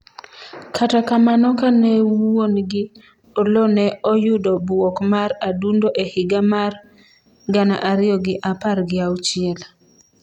kata kamano kane wuongi ,Oloo ne oyudo bwok mar adundo e higa mar gana ariyo gi apar gi auchiel